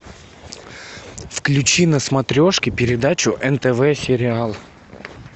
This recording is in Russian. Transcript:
включи на смотрешке передачу нтв сериал